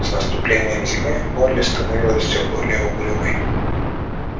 с наступлением зимы молли становилась все более угрюмой